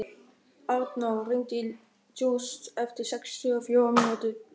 Arnór, hringdu í Júst eftir sextíu og fjórar mínútur.